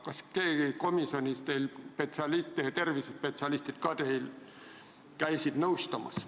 Kas komisjonis käisid nõu andmas ka tervisespetsialistid?